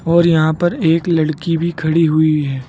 और यहां पर एक लड़की भी खड़ी हुई है।